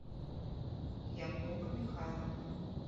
якуба михайловны